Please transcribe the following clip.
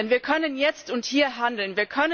Denn wir können jetzt und hier handeln.